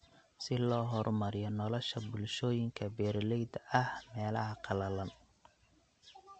Si loo horumariyo nolosha bulshooyinka beeralayda ah ee meelaha qalalan.